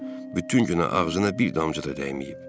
Bütün gün ağzına bir damcı da dəyməyib.